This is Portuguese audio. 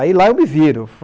Aí lá eu me viro.